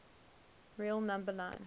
real number line